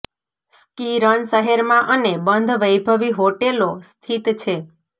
ski run શહેરમાં અને બંધ વૈભવી હોટેલો સ્થિત છે